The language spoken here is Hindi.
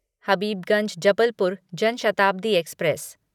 हबीबगंज जबलपुर जन शताब्दी एक्सप्रेस